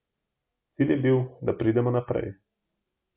Cilj je bil, da pridemo naprej.